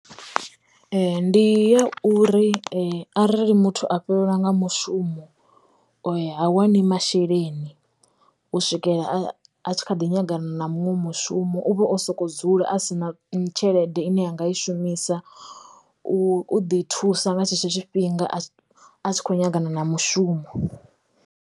Ee ndi ya uri arali muthu a fhelelwa nga mushumo ha wani masheleni u swikela a tshi kha ḓi nyagama na muṅwe mushumo uvha o soko dzula a si na tshelede ine anga i shumisa u u ḓi thusa nga tshetsho tshifhinga a tshi kho nyaga na mushumo.